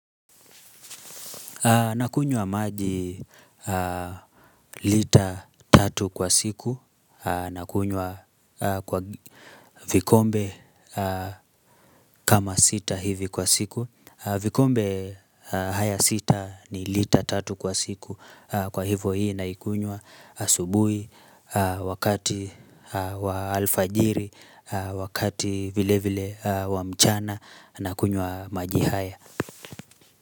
Nakunywa maji lita tatu kwa siku. Nakunywa vikombe kama sita hivi kwa siku. Vikombe haya sita ni litra tatu kwa siku. Kwa hivo hii naikunywa asubuhi, wakati wa alfajiri, wakati vile vile wa mchana, nakunywa maji haya.